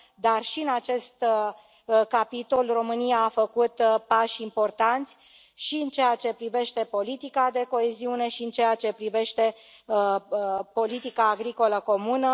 Dar și în acest în capitol România a făcut pași importanți, și în ceea ce privește politica de coeziune, și în ceea ce privește politica agricolă comună.